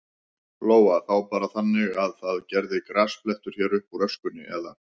Lóa: Þá bara þannig að það verði grasblettur hér uppúr öskunni, eða?